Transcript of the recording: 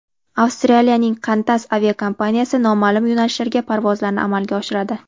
Avstraliyaning Qantas aviakompaniyasi noma’lum yo‘nalishlarga parvozlarni amalga oshiradi.